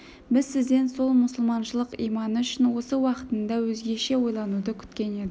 біз сізден сол мұсылманшылық иманы үшін осы іс уақытында өзгеше ойлануды күткен едік